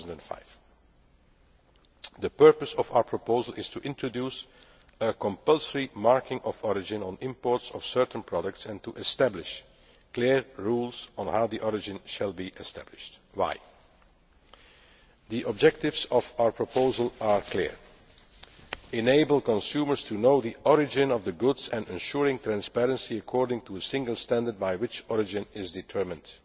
2005. The purpose of our proposal is to introduce a compulsory marking of origin on imports of certain products and to establish clear rules on how origin shall be established. The objectives of our proposal are clear to enable consumers to know the origin of the goods and to ensure transparency according to a single standard by which origin is determined.